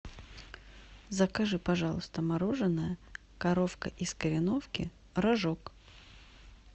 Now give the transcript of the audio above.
закажи пожалуйста мороженое коровка из кореновки рожок